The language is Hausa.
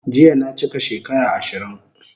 Jiya na chika shekara 20